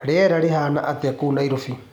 Rĩera rĩhana atĩa kũũ Naîrobî?